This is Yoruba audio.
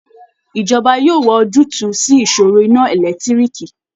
Ìjọba yóò wá ojútùú sí ìṣòro iná ẹlẹ́tiriììki